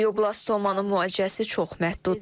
Qlioblastomanın müalicəsi çox məhduddur.